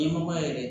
Ɲɛmɔgɔ yɛrɛ